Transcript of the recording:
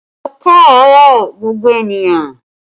Ẹ kaaro gbogbo ènìyàn